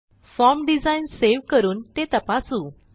form design save करून ते तपासू